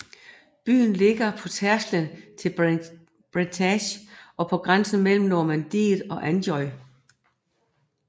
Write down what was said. Byen ligger på tærsklen til Bretagne og på grænsen mellem Normandiet og Anjou